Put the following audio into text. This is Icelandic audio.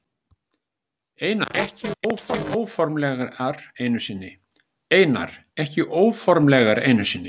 Einar: Ekki óformlegar einu sinni?